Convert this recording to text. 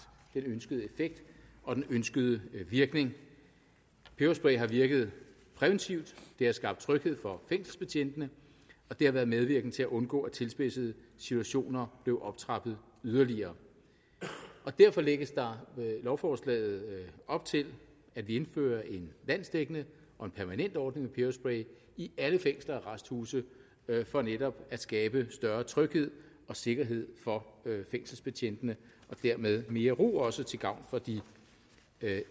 den ønskede effekt og den ønskede virkning peberspray har virket præventivt det har skabt tryghed for fængselsbetjentene og det har været medvirkende til at undgå at tilspidsede situationer blev optrappet yderligere derfor lægges der lovforslaget op til at vi indfører en landsdækkende og permanent ordning med peberspray i alle fængsler og arresthuse for netop at skabe større tryghed og sikkerhed for fængselsbetjentene og dermed mere ro også til gavn for de